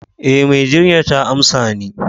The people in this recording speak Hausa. Eh, mai jinyar ta amsa ni.